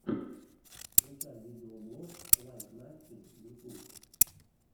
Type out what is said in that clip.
включай видеоблог лайк насти ютуб